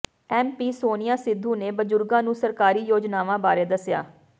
M P Sonia Sidhu ਨੇ ਬਜ਼ੁਰਗਾਂ ਨੂੰ ਸਰਕਾਰੀ ਯੋਜਨਾਵਾਂ ਬਾਰੇ ਦੱਸਿਆ